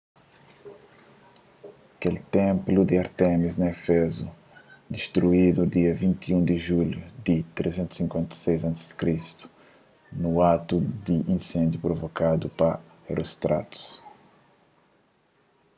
kel ténplu di ártemis na éfezu distruidu dia 21 di julhu di 356 a.c. nun atu di insendiu provokadu pa herostratus